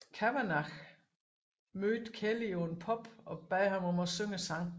Kavanagh mødte Kelly på en pub og bad ham om at synge sangen